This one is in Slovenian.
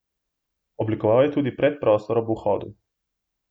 Oblikoval je tudi predprostor ob vhodu.